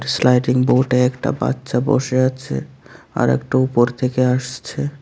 Sliding বোর্ডে একটা বাচ্চা বোসে আছে আর একটা উপর থেকে আসছে।